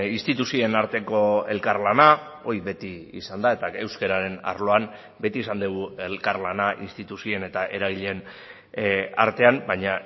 instituzioen arteko elkarlana hori beti izan da eta euskararen arloan beti izan dugu elkarlana instituzioen eta eragileen artean baina